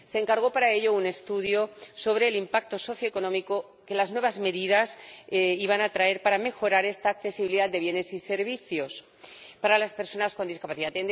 Se encargó para ello un estudio sobre el impacto socioeconómico que las nuevas medidas iban a traer para mejorar esta accesibilidad de bienes y servicios para las personas con discapacidad.